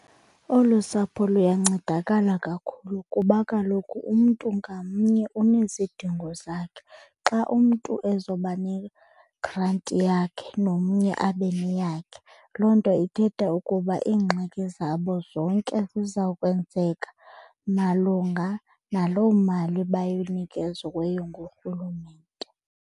Olu sapho luyancedakala kakhulu kuba kaloku umntu ngamnye unezidingo zakhe. Xa umntu ezoba negranti yakhe nomnye abe neyakhe, loo nto ithetha ukuba iingxaki zabo zonke ziza kwenzeka malunga naloo mali bayinikeziweyo nguRhulumente.